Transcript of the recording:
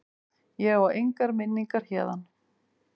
Ég á engar minningar héðan.